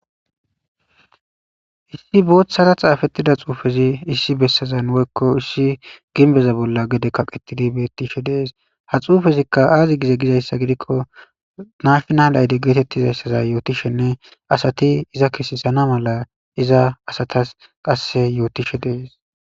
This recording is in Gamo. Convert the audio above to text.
issi boothhara xaafettida xuufezi issi bessazan woykko issi ginbeza bolla gede kaqettidi beettishe dees ha xuufezikka aazi gize gizayssa gidikko naashnal ayde geetettizayssaza yootishenne asati iza kesesana mala iza asatas qasse yootishe dees